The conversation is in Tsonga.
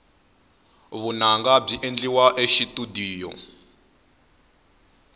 vunanga byi endliwa exitudiyo